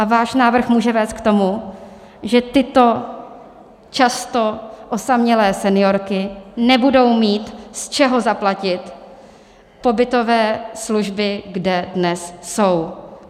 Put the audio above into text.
A váš návrh může vést k tomu, že tyto často osamělé seniorky nebudou mít z čeho zaplatit pobytové služby, kde dnes jsou.